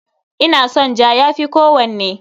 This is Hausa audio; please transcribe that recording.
Ina son ja, ya fi kowanne.